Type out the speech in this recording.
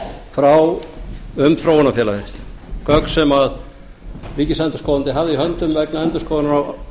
frá hverjum um þróunarfélagið gögn sem ríkisendurskoðandi hafði í höndum vegna endurskoðunar á